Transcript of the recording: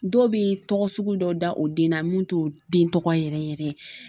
Dɔw bɛ tɔgɔ sugu dɔ da o den na mun t'o den tɔgɔ yɛrɛ yɛrɛ ye